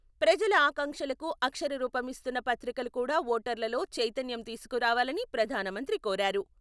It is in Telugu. ప్రజల ఆకాంక్షలకు అక్షరరూపం ఇస్తున్న పత్రికలు కూడా ఓటర్లలో చైతన్యం తీసుకరావాలని ప్రధానమంత్రి కోరారు.